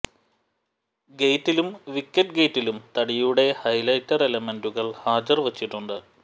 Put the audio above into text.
ഗെയ്റ്റിലും wicket ഗെയ്റ്റിലും തടിയുടെ highlighter എലമെന്റുകൾ ഹാജർ വച്ചിട്ടുണ്ട്